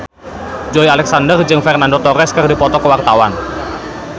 Joey Alexander jeung Fernando Torres keur dipoto ku wartawan